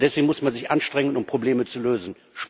Deswegen muss man sich anstrengen, um Probleme zu lösen.